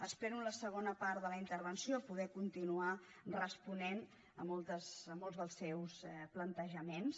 espero en la segona part de la intervenció poder continuar responent molts dels seus plantejaments